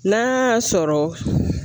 N'a y'a sɔrɔ